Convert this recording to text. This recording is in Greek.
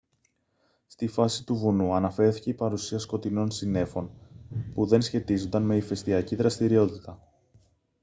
στη βάση του βουνού αναφέρθηκε η παρουσία σκοτεινών συννέφων που δεν σχετίζονταν με ηφαιστιακή δραστηριότητα